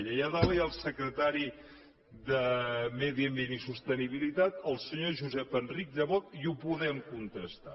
allà dalt hi ha el secretari de medi ambient i sostenibilitat el senyor josep enric llebot i ho podem contrastar